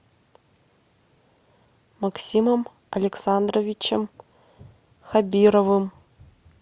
максимом александровичем хабировым